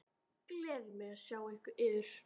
Gleður mig að sjá yður.